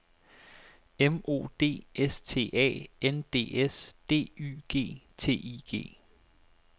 M O D S T A N D S D Y G T I G